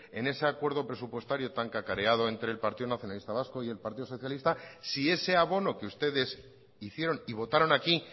en ese acuerdo presupuestario tan cacareado entre el partido nacionalista vasco y el partido socialista siese abono que ustedes hicieron y votaron aquí